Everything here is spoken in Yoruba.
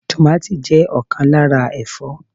Tomàti jẹ́ ọ̀kan lára Ẹ̀fọ́.